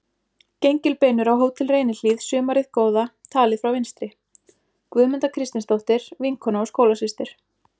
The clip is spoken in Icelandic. Gengilbeinur á Hótel Reynihlíð sumarið góða, talið frá vinstri: Guðmunda Kristinsdóttir, vinkona og skólasystir